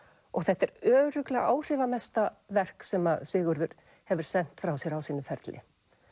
og þetta er örugglega áhrifamesta verk sem að Sigurður hefur sent frá sér á sínum ferli